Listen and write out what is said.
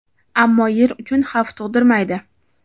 ammo Yer uchun xavf tug‘dirmaydi.